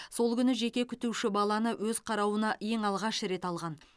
сол күні жеке күтуші баланы өз қарауына ең алғаш рет алған